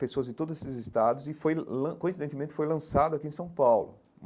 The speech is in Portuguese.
pessoas de todos esses estados e foi lan, coincidentemente, foi lançado aqui em São Paulo.